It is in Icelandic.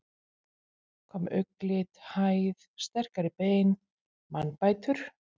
Hvað með augnlit, hæð, sterkari bein, mannbætur?